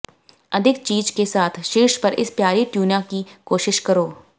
अधिक चीज के साथ शीर्ष पर इस प्यारी ट्यूना की कोशिश करो